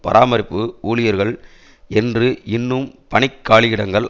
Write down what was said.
பராமரிப்பு ஊழியர்கள் என்று இன்னும் பணிக் காலியிடங்கள்